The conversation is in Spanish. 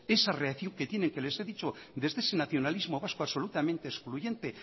esa reacción que tienen que les he dicho desde ese nacionalismo vasco absolutamente excluyente